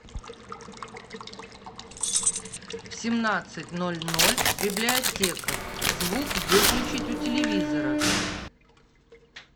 в семнадцать ноль ноль библиотека звук выключить у телевизора